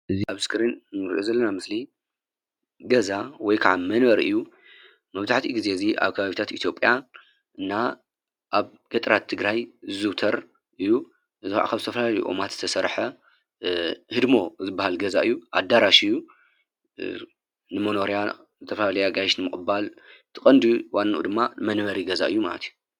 እዚ ኣብ ስክሪ እንርእዮ ዘለና ምስሊ ገዛ ወይ ከዓ መንበሪ እዩ፤ መብዛሕቲኡ ጊዜ ኣብ ከባቢታት ኢትዮጵያ እና ኣብ ገጠራት ትግራይ ዝዝዉተር እዩ ፤እዚ ከዓ ካብ ዝተፈላለዩ ኦማት ዝተሰርሐ ህድሞ ዝብሃል ገዛ እዩ ኣዳራሽ እዩ ንመኖርያ ዝተፈላላዩ ኣጋይሽ ንምቕባል እቲ ቀንዲ ዋንኡ ድማ ንመንበሪ ገዛ እዩ ማለት እዩ።